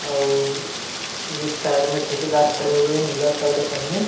अउ एक साइड में ठेकेदार खड़े हुए हे नीला शर्ट पहीने हुए।